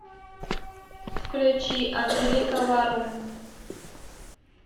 включи анжелика варум